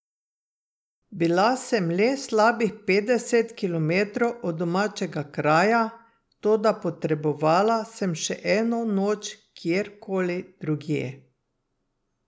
Bila sem le slabih petdeset kilometrov od domačega kraja, toda potrebovala sem še eno noč kjer koli drugje.